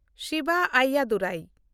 Siva Ayyadurai